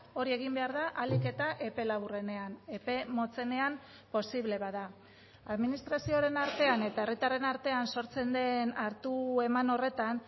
hori egin behar da ahalik eta epe laburrenean epe motzenean posible bada administrazioaren artean eta herritarren artean sortzen den hartu eman horretan